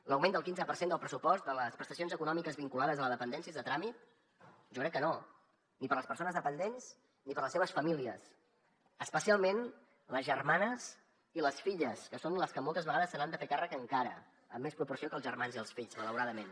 l’augment del quinze per cent del pressupost de les prestacions econòmiques vinculades a la dependència és de tràmit jo crec que no ni per a les persones dependents ni per a les seves famílies especialment les germanes i les filles que són les que moltes vegades se n’han de fer càrrec encara en més proporció que els germans i els fills malauradament